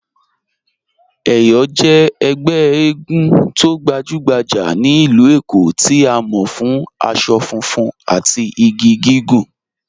Eyọ jẹ̀ ègbè ègún tó gbajùgbàjà ní ilú Èkó tí a mọ̀ fún àṣọ fùnfun àti igi gígùn